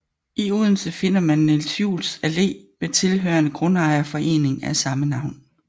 I Odense finder man Niels Juels Allé med tilhørende grundejerforening af samme navn